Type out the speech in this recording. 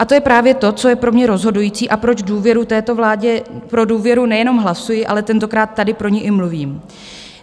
A to je právě to, co je pro mě rozhodující a proč důvěru této vládě, pro důvěru nejenom hlasuji, ale tentokrát tady pro ni i mluvím.